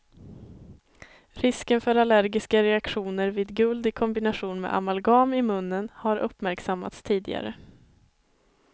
Risken för allergiska reaktioner vid guld i kombination med amalgam i munnen har uppmärksammats tidigare.